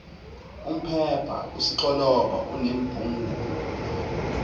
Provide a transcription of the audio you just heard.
umpepha usixoloba unombengula